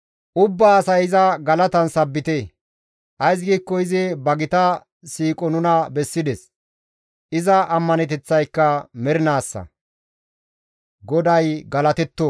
Ays giikko izi ba gita siiqo nuna bessides; iza ammaneteththayka mernaassa; GODAY galatetto!